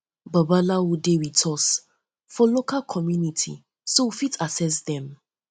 babalawo dem dey with us for um us for um local community um so we fit access um dem